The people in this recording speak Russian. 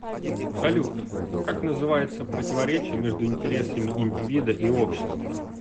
салют как называется противоречие между интересами индивида и общества